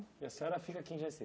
E a senhora fica aqui em Jaci?